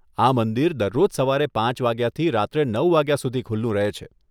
આ મંદિર દરરોજ સવારે પાંચ વાગ્યાથી રાત્રે નવ વાગ્યા સુધી ખુલ્લું રહે છે.